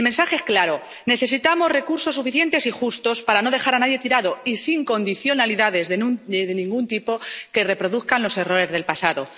El mensaje es claro necesitamos recursos suficientes y justos para no dejar a nadie tirado y sin condicionalidades de ningún tipo que reproduzcan los errores del pasado.